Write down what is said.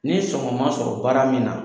Ni sɔgɔma sɔrɔ baara min na